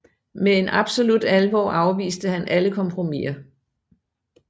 Med en absolut alvor afviste han alle kompromiser